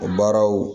O baaraw